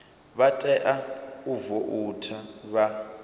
vha tea u voutha vha